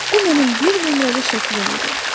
Bu mənim bir nömrəli şəklim idi.